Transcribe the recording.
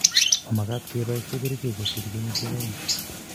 Mamakat kepoishe kerchek kosir kenyishek aeng